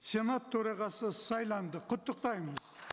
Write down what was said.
сенат төрағасы сайланды құттықтаймыз